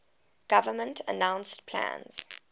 government announced plans